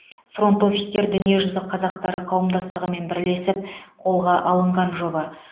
фронт офистер дүниежүзі қазақтары қауымдастығымен бірлесіп қолға алынған жоба